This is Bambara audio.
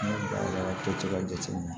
N'i ye barika to ka jateminɛ